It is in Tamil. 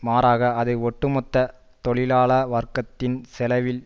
மாறாக அது ஒட்டு மொத்த தொழிலாள வர்க்கத்தின் செலவில்